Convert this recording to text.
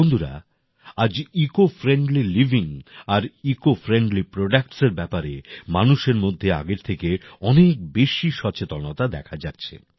বন্ধুরা আজ eco friendly living আর ইকো ফ্রেন্ডলী প্রোডাক্টস এর ব্যাপারে মানুষের মধ্যে আগের থেকে অনেক বেশি সচেতনতা দেখা যাচ্ছে